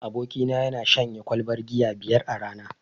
Abokina yana shanye kwalbar giya biyar a rana.